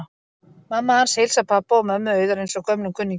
Mamma hans heilsar pabba og mömmu Auðar eins og gömlum kunningjum.